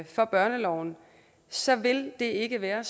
for børneloven så vil det ikke være